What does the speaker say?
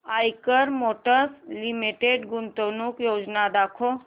Eicher motors limited गुंतवणूक योजना दाखव